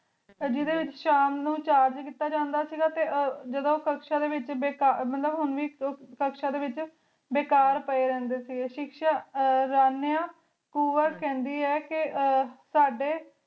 ਜਿਡੀ ਵੇਚ ਸ਼ਾਮ ਨੂੰ ਚਾਰ ਕੀਤਾ ਜਾਂਦਾ ਸੇ ਗਾ ਟੀ ਜਾਦੁਨ ਕੁਛ ਜਾਦੁਨ ਕਕ੍ਸ਼ਾ ਦੇ ਵੇਚ ਹੁਣ ਵੇ ਕਾਕ ਸ਼ਾਦੀ ਵੇਚ ਬੇਕਾਰ ਪੀ ਰਹੰਡੀ ਸੇ ਗੀ ਸ਼ਾਹ ਰਾਨੇਯਾਂ ਕੁਵਾ ਕਹਨ ਦੇ ਆਯ ਕੀ ਹਮਮ ਸਾਡੀ